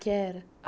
Que era?